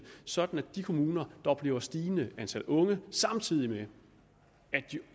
sådan at de kommuner der oplever et stigende antal unge samtidig med at de